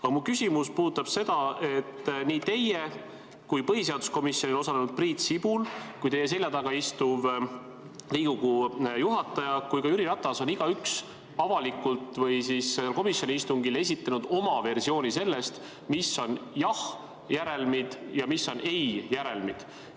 Aga mu küsimus puudutab seda, et nii teie, põhiseaduskomisjonis osalenud Priit Sibul, teie selja taga istuv Riigikogu juhataja kui ka Jüri Ratas on igaüks avalikult või komisjoni istungil esitanud oma versiooni sellest, mis on jahhi järelmid ja mis on ei järelmid.